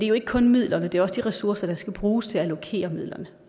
jo ikke kun midlerne det er også de ressourcer der skal bruges til at allokere midlerne